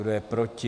Kdo je proti?